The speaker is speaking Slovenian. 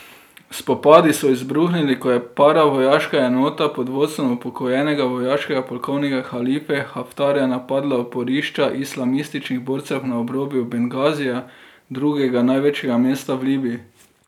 Spopadi so izbruhnili, ko je paravojaška enota pod vodstvom upokojenega vojaškega polkovnika Halife Haftarja napadla oporišča islamističnih borcev na obrobju Bengazija, drugega največjega mesta v Libiji.